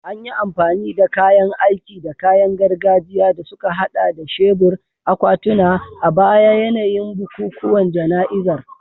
An yi amfani da kayan aiki da kayan gargajiya, da suka haɗa da shebur, akwatuna, a baya yayin bukukuwan jana'izar